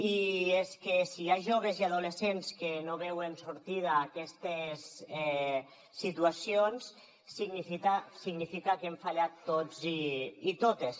i és que si hi ha joves i adolescents que no veuen sortida a aquestes situacions significa que hem fallat tots i totes